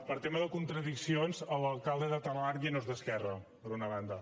per tema de contradiccions l’alcalde de talarn ja no és d’esquerra per una banda